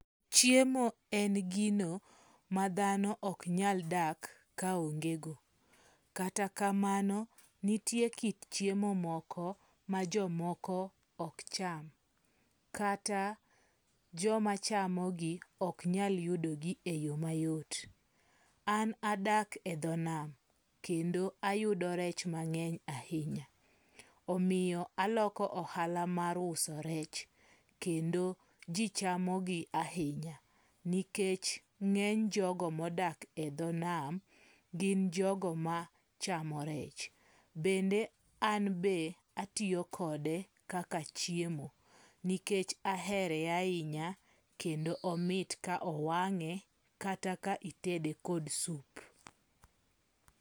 Chiemo en gino ma dhano ok nyal dak ka onge go. Kata kamano nitie kit chiemo moko ma jo moko ok cham. Kata joma chamogi ok nyal yudogi e yo mayot. An adak e dho nam kendo ayudo rech mang'eny ahinya. Omiyo aloko ohala mar uso rech kendo ji chamogi ahinya. Nikech ng'eny jogo modak e dho nam gin jogo ma chamo rech. Bende an be atiyo kode kaka chiemo nikech ahere ahinya kendo omit ka owang'e kata ka itede kod sup.